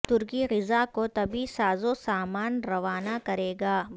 ترکی غزہ کو طبی سازو سامان روانہ کرے گا